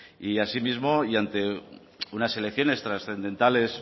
asimismo y ante unas elecciones trascendentales